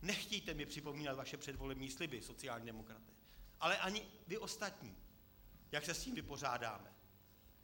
Nechtějte mi připomínat vaše předvolební sliby sociálních demokratů, ale ani vy ostatní, jak se s tím vypořádáte.